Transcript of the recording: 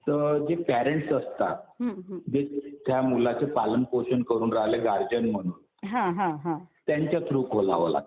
तर जे पेरेंट्स असतात, त्या मुलाचे पालनपोषण करून राहिले गार्डियन म्हणून त्यांच्या थ्रू खोलाव लागतं.